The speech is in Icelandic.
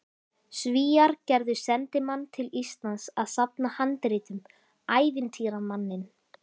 Svíar gerðu sendimann til Íslands að safna handritum, ævintýramanninn